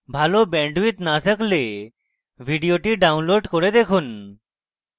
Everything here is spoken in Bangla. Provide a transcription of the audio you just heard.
ভাল bandwidth না থাকলে ভিডিওটি download করে দেখুন